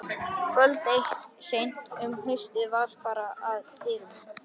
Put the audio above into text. Kvöld eitt seint um haustið var barið að dyrum.